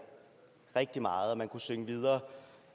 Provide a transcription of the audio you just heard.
rigtig meget og man kunne synge videre